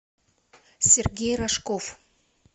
сергей рожков